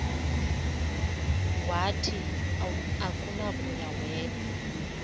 wathi akunakuya wedw